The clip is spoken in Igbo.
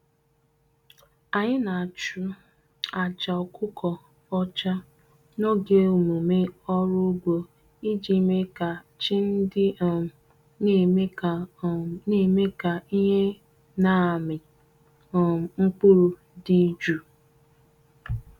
Anyị na-achụ aja ọkụkọ ọcha n'oge emume ọrụ ugbo iji mee ka chi ndị um na-eme ka um na-eme ka ihe na-amị um mkpụrụ dị jụụ.